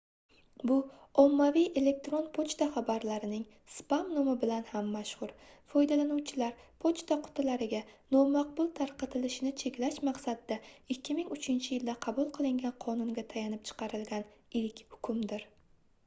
bu ommaviy elektron pochta xabarlarining spam nomi bilan ham mashhur foydalanuvchilar pochta qutilariga nomaqbul tarqatilishini cheklash maqsadida 2003-yilda qabul qilingan qonunga tayanib chiqarilgan ilk hukmdir